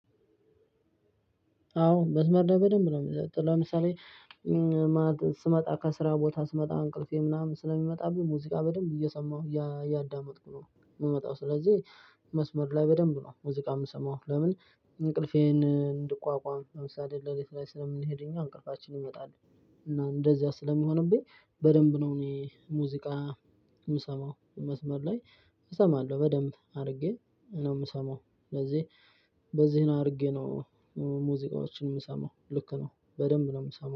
አዎ መስመር ላይ በደንብ ነው ምጠጣው ለምሳሌ ስመጣ ከስራ ቦታ ስመጣ እንቅልፌ ምናምን ስለሚመጣብኝ ሙዚቃ በደንብ እየሰማሁ እያዳመጥኩ ነው። ምመጣው ስለዚህ መስመር ላይ በደንብ ነው ሙዚቃ ምሰማው ለምን እንቅልፌን እንድቋቋም ለምሳሌ ለሊት ላይ ስለምንሄድ እኛ እንቅልፋችን ይመጣል። እና እንደዚያ ስለሚሆንብኝ በደንብ ነው እኔ ሙዚቃ ምሰማው መስመር ላይ። እሰማለሁ በደንብ አድርጌ ነው ምሰማው ለዚህ በዚህ ነው አርጌ ነው። ሙዚቃዎችን ምሰማው ልክ ነው በደንብ ነው ምሰማው